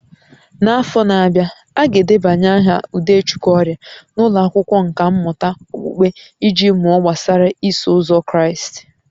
N'afọ na-abịa, a ga-edebanye aha Udechukwu ọrịa n'ụlọ akwụkwọ nkà mmụta okpukpe iji mụọ gbasara Iso Ụzọ Kraịst